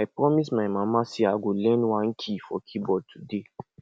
i promise my mama say i go learn one key for keyboard today